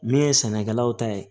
Min ye sɛnɛkɛlaw ta ye